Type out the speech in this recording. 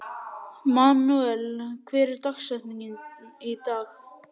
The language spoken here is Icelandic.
Manuel, hver er dagsetningin í dag?